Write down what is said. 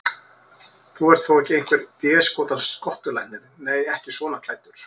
Þú ert þó ekki einhver déskotans skottulæknirinn. nei, ekki svona klæddur.